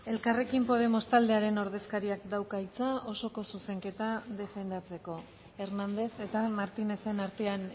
elkarrekin podemos taldearen ordezkariak dauka hitza osoko zuzenketa defendatzeko hérnandez eta martínezen artean